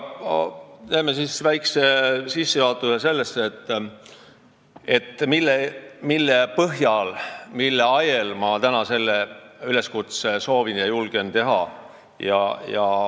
Teen väikse sissejuhatuse selle kohta, mille põhjal, mille ajel ma täna soovin ja julgen selle üleskutse teha.